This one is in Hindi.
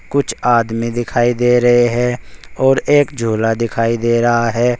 कुछ आदमी दिखाई दे रहे हैं और एक झूला दिखाई दे रहा है।